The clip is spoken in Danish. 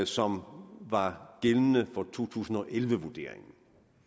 som var gældende for to tusind og elleve vurderingen